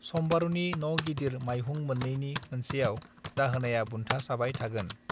सम्बारूनि न गिदिर माइहुं मोननैनि मोनसेआव दाहोनाया बुन्था साबाय थागोन